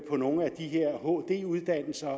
på nogle af de her hd uddannelser